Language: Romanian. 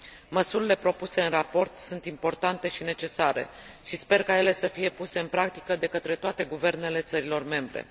Măsurile propuse în raport sunt importante și necesare și sper ca ele să fie puse în practică de către toate guvernele țărilor membre.